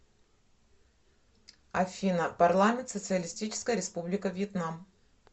афина парламент социалистическая республика вьетнам